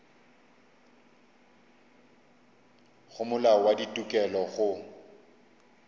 go molao wa ditokelo go